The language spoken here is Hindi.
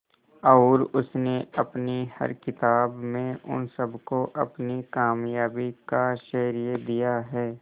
और उसने अपनी हर किताब में उन सबको अपनी कामयाबी का श्रेय दिया है